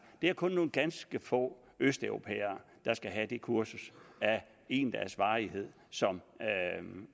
det er kun nogle ganske få østeuropæere der skal have det kursus af en dags varighed som